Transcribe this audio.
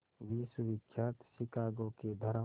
विश्वविख्यात शिकागो के धर्म